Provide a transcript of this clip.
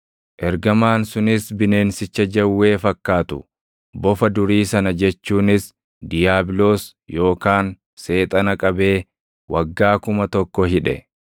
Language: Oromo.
Ergamaan sunis bineensicha jawwee fakkaatu, bofa durii sana jechuunis diiyaabiloos yookaan Seexana qabee waggaa kuma tokko hidhe.